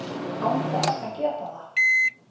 án þess að geta það.